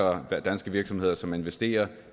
og der er danske virksomheder som investerer